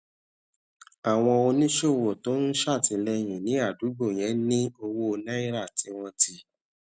àwọn oníṣòwò tó ń ṣètìléyìn ní àdúgbò yẹn ní owó naira tí wón ti